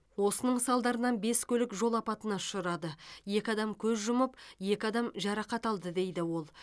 осының салдарынан бес көлік жол апатына ұшырады екі адам көз жұмып екі адам жарақат алды дейді ол